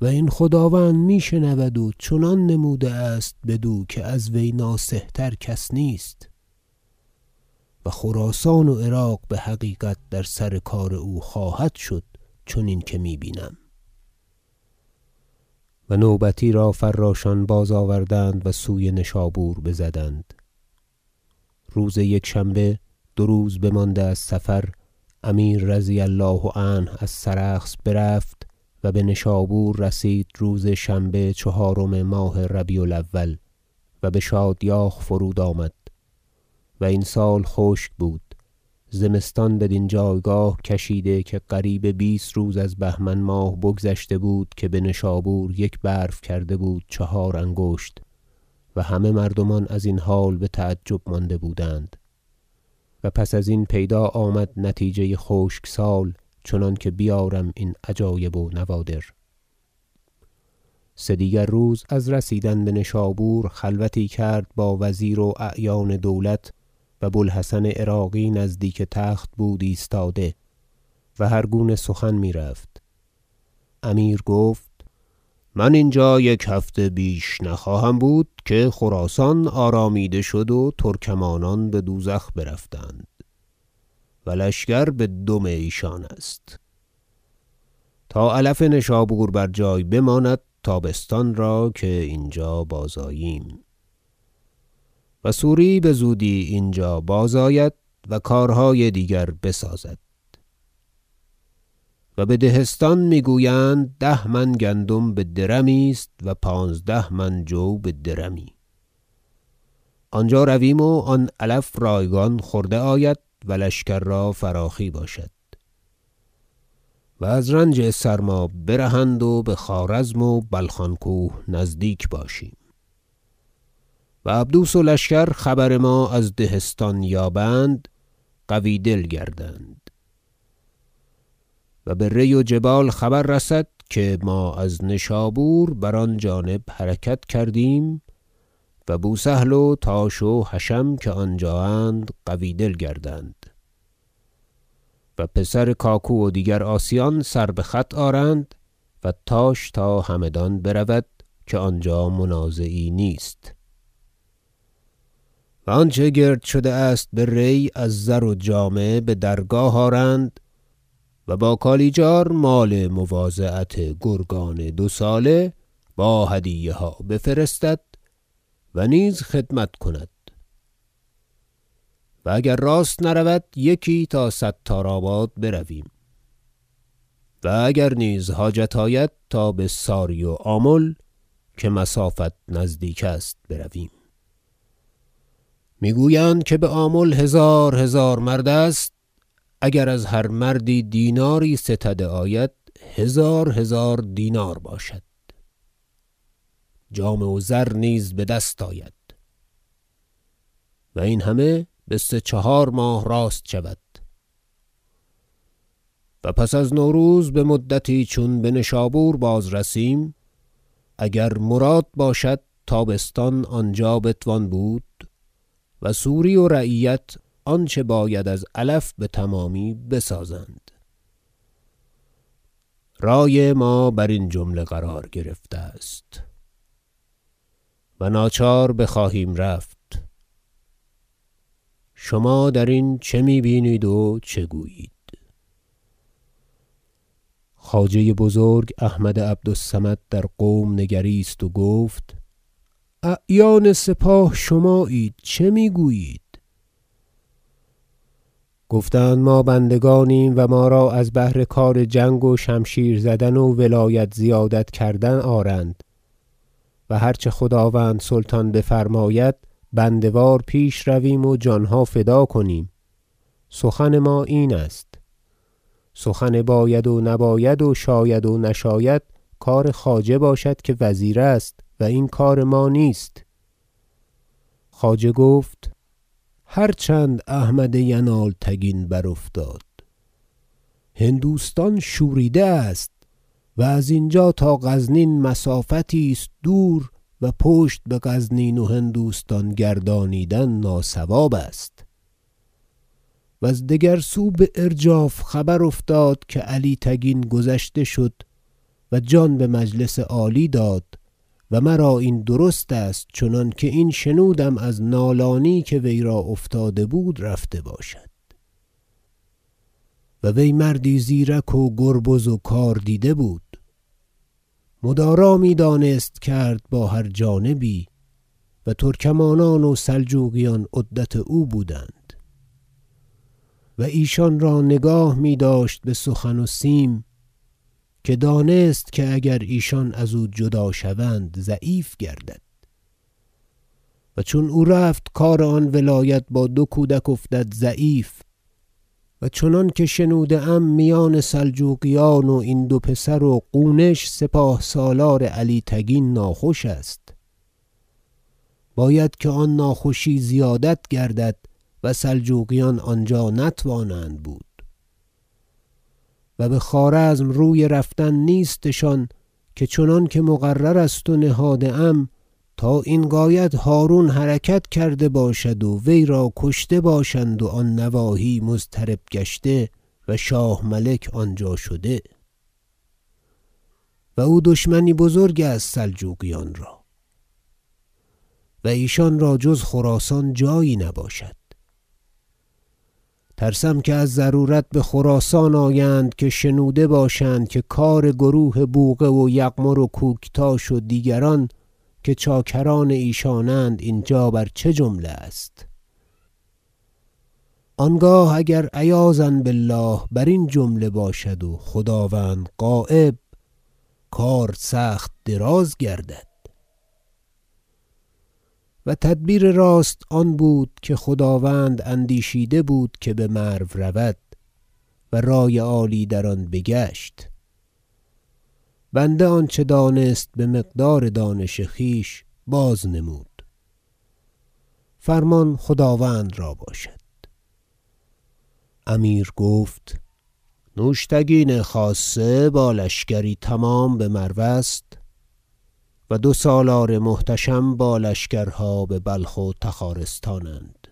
و این خداوند میشنود و چنان نموده است بدو که از وی ناصح تر کس نیست و خراسان و عراق بحقیقت در سر کار او خواهد شد چنین که می بینم و نوبتی را فراشان بازآوردند و سوی نشابور بزدند روز یکشنبه دو روز بمانده از صفر امیر رضی الله عنه از سرخس برفت و بنشابور رسید روز شنبه چهارم ماه ربیع الاول و بشادیاخ فرود آمد و این سال خشک بود زمستان بدین جایگاه کشیده که قریب بیست روز از بهمن ماه بگذشته بود که بنشابور یک برف کرده بود چهار انگشت و همه مردمان ازین حال بتعجب مانده بودند و پس ازین پیدا آمد نتیجه خشک سال چنانکه بیارم این عجایب و نوادر سدیگر روز از رسیدن بنشابور خلوتی کرد با وزیر و اعیان دولت و بوالحسن عراقی نزدیک تخت بود ایستاده و هرگونه سخن میرفت امیر گفت من اینجا یک هفته بیش نخواهم بود که خراسان آرامیده شد و ترکمانان بدوزخ برفتند و لشکر بدم ایشان است تا علف نشابور بر جای بماند تابستان را که اینجا بازآییم و سوری بزودی اینجا بازآید و کارهای دیگر بسازد و به دهستان میگویند ده من گندم بدرمی است و پانزده من جو بدرمی آنجا رویم و آن علف رایگان خورده آید و لشکر را فراخی باشد و از رنج سرما برهند و بخوارزم و بلخان کوه نزدیک باشیم و عبدوس و لشکر خبر ما از دهستان یابند قوی دل گردند و به ری و جبال خبر رسد که ما از نشابور بر آن جانب حرکت کردیم و بوسهل و تاش و حشم که آنجااند قوی دل گردند و پسر کاکو و دیگر عاصیان سر بخط آرند و تاش تا همدان برود که آنجا منازعی نیست و آنچه گرد شده است به ری از زر و جامه بدرگاه آرند و با کالیجار مال مواضعت گرگان دو ساله با هدیه ها بفرستد و نیز خدمت کند و اگر راست نرود یکی تا ستار آباد برویم و اگر نیز حاجت آید تا بساری و آمل که مسافت نزدیک است برویم میگویند که بآمل هزار هزار مرد است اگر از هر مردی دیناری ستده آید هزار هزار دینار باشد جامه و زر نیز بدست آید و این همه بسه چهار ماه راست شود و پس از نوروز بمدتی چون بنشابور بازرسیم اگر مراد باشد تابستان آنجا بتوان بود و سوری و رعیت آنچه باید از علف بتمامی بسازند رای ما برین جمله قرار گرفته است و ناچار بخواهیم رفت شما درین چه می بینید و گویید خواجه بزرگ احمد عبد الصمد در قوم نگریست و گفت اعیان سپاه شمااید چه میگویید گفتند ما بندگانیم و ما را از بهر کار جنگ و شمشیر زدن و ولایت زیادت کردن آرند و هر چه خداوند سلطان بفرماید بنده وار پیش رویم و جانها فدا کنیم سخن ما این است سخن باید و نباید و شاید نشاید کار خواجه باشد که وزیر است و این کار ما نیست خواجه گفت هر چند احمد ینالتگین برافتاد هندوستان شوریده است و از اینجا تا غزنین مسافتی است دور و پشت بغزنین و هندوستان گردانیدن ناصواب است وز دگر سو بارجاف خبر افتاد که علی تگین گذشته شد و جان بمجلس عالی داد و مرا این درست است چنانکه این شنودم از نالانی که وی را افتاده بود رفته باشد و وی مردی زیرک و گربز و کاردیده بود مدارا میدانست کرد با هر جانبی و ترکمانان و سلجوقیان عدت او بودند و ایشان را نگاه میداشت بسخن و سیم که دانست که اگر ایشان ازو جدا شوند ضعیف گردد و چون او رفت کار آن ولایت با دو کودک افتاد ضعیف و چنانکه شنوده ام میان سلجوقیان و این دو پسر و قونش سپاه سالار علی تگین ناخوش است باید که آن ناخوشی زیادت گردد و سلجوقیان آنجا نتوانند بود و بخوارزم روی رفتن نیستشان که چنان که مقرر است و نهاده ام تا این غایت هرون حرکت کرده باشد و وی را کشته باشند و و آن نواحی مضطرب گشته و شاه ملک آنجا شده و او دشمنی بزرگ است سلجوقیان را و ایشان را جز خراسان جایی نباشد ترسم که از ضرورت بخراسان آیند که شنوده باشند که کار گروه بوقه و یغمر و کوکتاش و دیگران که چاکران ایشانند اینجا بر چه جمله است آنگاه اگر عیاذا بالله برین جمله باشد و خداوند غایب کار سخت دراز گردد و تدبیر راست آن بود که خداوند اندیشیده بود که بمرو رود و رای عالی در آن بگشت بنده آنچه دانست بمقدار دانش خویش بازنمود فرمان خداوند را باشد امیر گفت نوشتگین خاصه با لشکری تمام بمرو است و دو سالار محتشم با لشکرها ببلخ و تخارستانند